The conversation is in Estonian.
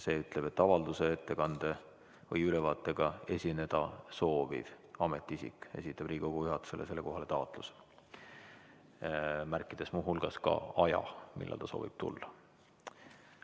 See ütleb, et avalduse, ettekande või ülevaatega esineda sooviv ametiisik esitab Riigikogu juhatusele sellekohase taotluse, märkides muu hulgas ka aja, millal ta soovib tulla.